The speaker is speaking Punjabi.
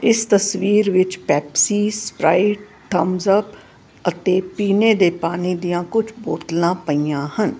ਇਸ ਤਸਵੀਰ ਵਿੱਚ ਪੈਪਸੀ ਸਪਰਾਈਟ ਠੁਮਸਅਪ ਅਤੇ ਪੀਨੇ ਦੇ ਪਾਣੀ ਦੀਆਂ ਕੁਝ ਬੋਤਲਾ ਪਈਆਂ ਹਨ।